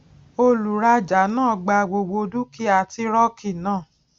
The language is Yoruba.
olùrajà náà gba gbogbo dúkìá tírọkì náà